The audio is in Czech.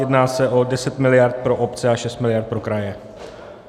Jedná se o 10 miliard pro obce a 6 miliard pro kraje.